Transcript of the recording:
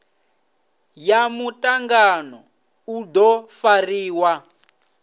ya mutangano u do fariwa